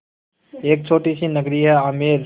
एक छोटी सी नगरी है आमेर